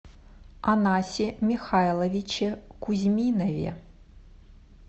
анасе михайловиче кузьминове